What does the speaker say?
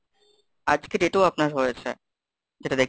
হ্যাঁ আজকেও একটা হয়েছে দশ টাকা ছাপান্ন পয়সা।